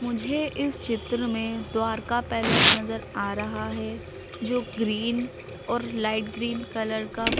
मुझे इस चित्र में द्वारका पैलेस नजर आ रहा है जो ग्रीन और लाइट ग्रीन कलर का--